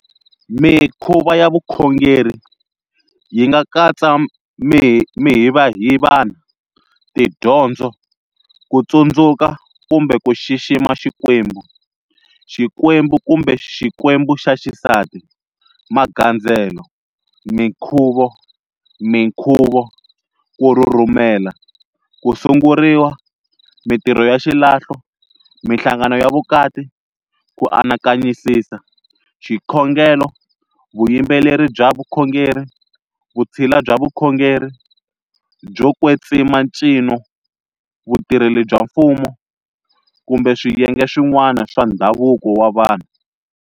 Mikhuva ya vukhongeri yi nga katsa mihivahivana, tidyondzo, ku tsundzuka kumbe ku xixima xikwembu, xikwembu kumbe xikwembu xa xisati, magandzelo, minkhuvo, minkhuvo, ku rhurhumela, ku sunguriwa, mintirho ya xilahlo, minhlangano ya vukati, ku anakanyisisa, xikhongelo, vuyimbeleri bya vukhongeri, vutshila bya vukhongeri, byo kwetsima ncino, vutirheli bya mfumo, kumbe swiyenge swin'wana swa ndhavuko wa vanhu.